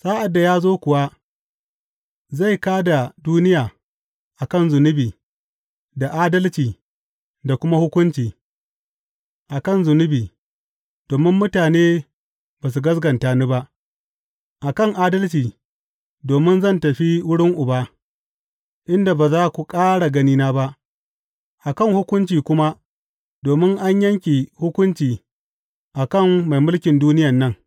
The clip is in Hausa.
Sa’ad da ya zo kuwa, zai kā da duniya a kan zunubi da adalci da kuma hukunci, a kan zunubi, domin mutane ba su gaskata da ni ba; a kan adalci, domin zan tafi wurin Uba, inda ba za ku ƙara ganina ba; a kan hukunci kuma, domin an yanke hukunci a kan mai mulkin duniyan nan.